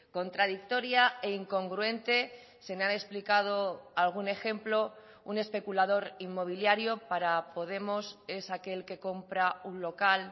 contradictoria e incongruente se me ha explicado algún ejemplo un especulador inmobiliario para podemos es aquel que compra un local